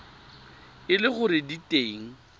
e le gore di teng